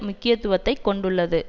முக்கியத்துவத்தை கொண்டுள்ளது